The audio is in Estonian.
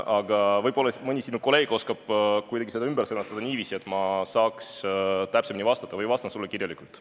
Aga võib-olla mõni sinu kolleeg oskab selle ümber sõnastada kuidagi niiviisi, et ma saaks täpsemini vastata, või siis vastan sulle kirjalikult.